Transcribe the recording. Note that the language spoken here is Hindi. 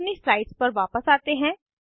अब अपनी स्लाइड्स पर वापस आते हैं